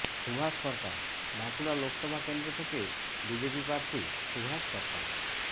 সুভাষ সরকার বাঁকুড়া লোকসভা কেন্দ্র থেকে বিজেপি প্রার্থী সুভাষ সরকার